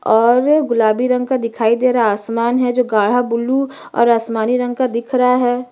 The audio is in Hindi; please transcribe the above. और गुलाबी रंग का दिखाई दे रहा है आसमान है जो गाढ़ा ब्लू और आसमानी रंग का दिख रहा है।